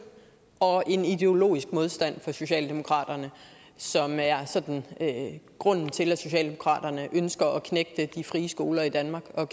og en ideologisk modstand hos socialdemokraterne som er sådan grunden til at socialdemokraterne ønsker at knægte de frie skoler i danmark og